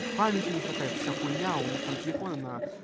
памятьи не хватает вся хуйня а у них там телефоны на